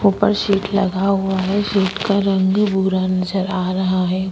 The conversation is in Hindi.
ऊपर शीट लगा हुआ है शीट का रंग बुरा नजर आ रहा है।